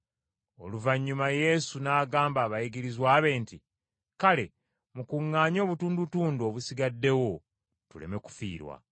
Oluvannyuma Yesu n’agamba abayigirizwa be nti, “Kale mukuŋŋaanye obutundutundu obusigaddewo tuleme kufiirwa.”